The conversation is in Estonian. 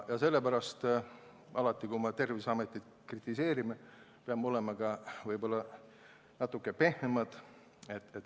Ja sellepärast peame alati, kui Terviseametit kritiseerime, olema võib-olla natuke pehmemad.